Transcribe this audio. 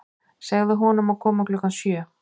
Segðu honum að koma klukkan sjö.